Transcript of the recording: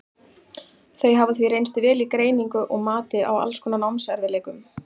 þau hafa því reynst vel í greiningu og mati á alls konar námserfiðleikum